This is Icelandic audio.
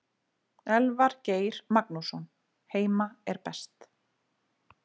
Elvar Geir Magnússon Heima er best.